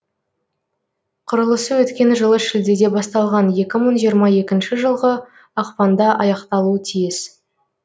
құрылысы өткен жылы шілдеде басталған екі мың жиырма екінші жылғы ақпанда аяқталуы тиіс